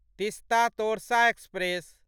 Teesta Torsha express